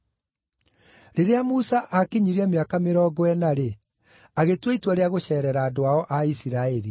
“Rĩrĩa Musa aakinyirie mĩaka mĩrongo ĩna-rĩ, agĩtua itua rĩa gũceerera andũ ao a Isiraeli.